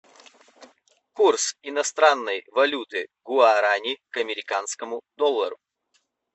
курс иностранной валюты гуарани к американскому доллару